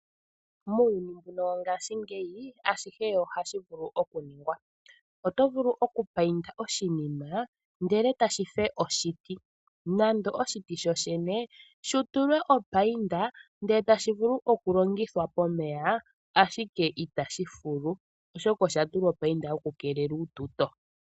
Muuyuni mbuno wongaashingeyi ashihe ohashi vulu oku ningwa. Oto vulu oku payinda oshinima ndele tashi fe oshiti nande oshiti sho shene shi tulwe opayinda ndele etashi vulu oku longithwa pomeya, ashike itashi fulu, oshoka osha tulwa opayinda yoku keelela uututo.